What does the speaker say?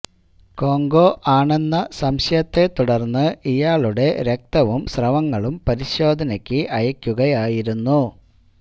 Congo ആണെന്ന സംശയത്തെ തുടര്ന്ന് ഇയാളുടെ രക്തവും സ്രവങ്ങളും പരിശോധനക്ക് അയക്കുകയായിരുന്നു